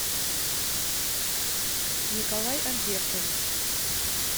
николай альбертович